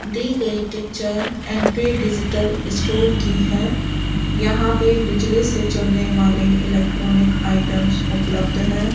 दी गई picture and पे digital store की है यहां पे बिजली से चलने वाले इलेक्ट्रॉनिक आइटम्स उपलब्ध है।